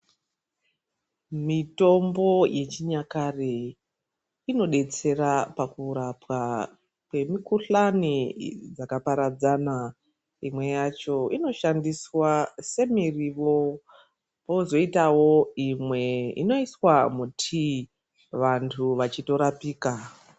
Mitombo yechinyakare inodetsera pakurapwa kwemikuhlani dzakaparadzana imwe yacho inoshandiswa semiriwo kozoitawo imwe inoiswa mutii vantu vachitorapika.